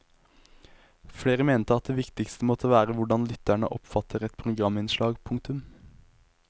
Flere mente at det viktigste måtte være hvordan lytterne oppfatter et programinnslag. punktum